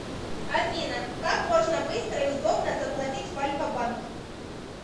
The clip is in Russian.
афина как можно быстро и удобно заплатить в альфабанк